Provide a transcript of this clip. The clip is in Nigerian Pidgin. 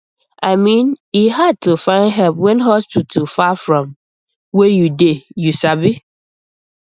i mean e hard to find help when hospital far from where you dey you sabi